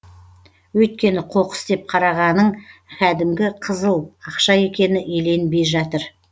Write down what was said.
өйткені қоқыс деп қарағаның кәдімгі қызыл ақша екені еленбей жатыр